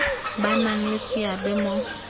ba nang le seabe mo